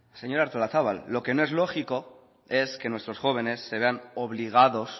señora artolazabal lo que no es lógico es que nuestros jóvenes se vean obligados